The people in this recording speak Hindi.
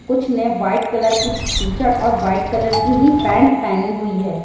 कुछ ने व्हाइट कलर की टी-शर्ट और व्हाइट कलर की ही पेन्ट पहनी हुई है।